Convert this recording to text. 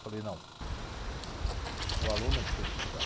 Eu falei, não, o aluno é que tem que estudar.